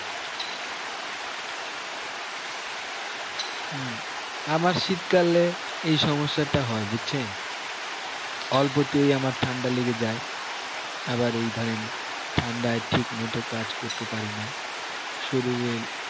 হম আমার শীতকালে এই সমস্যা টা হয়ে বুঝছেন অল্পতেই আমার ঠান্ডা লেগে যায় আবার এই ধরেন ঠান্ডায় ঠিক মতো কাজ করতে পারি না শরীরের